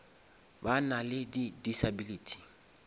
ba na le di disability